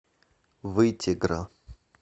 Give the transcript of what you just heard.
вытегра